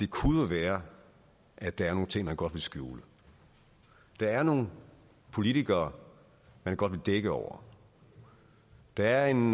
kunne være at der er nogle ting man godt vil skjule der er nogle politikere man godt vil dække over der er en